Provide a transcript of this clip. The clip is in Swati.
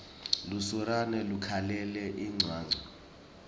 lusurane lukhalela incwancwa